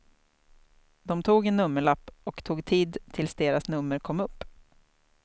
De tog en nummerlapp och tog tid tills deras nummer kom upp.